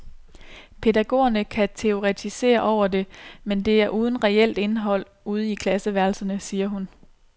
Pædagogerne kan teoretisere over det, men det er uden reelt indhold ude i klasseværelserne, siger hun.